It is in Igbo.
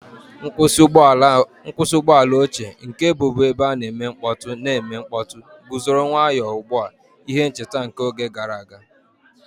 Nkwụsị ụgbọ ala ochie, nke bụbu ebe a na-eme mkpọtụ na-eme mkpọtụ, guzoro nwayọ ugbu a, ihe ncheta nke oge gara aga.